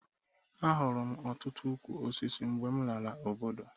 Ahụrụ m ọtụtụ ukwu osisi mgbe m lara obodo